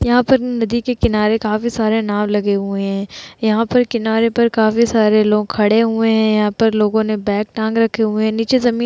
यहां पर नदी के किनारे काफी सारे नाव लगे हुए हैं यहां पर किनारे पर काफी सारे लोग खड़े हुए हैं यहां पर लोगों ने बैग टांग रखे हुए हैं नीचे जमीन --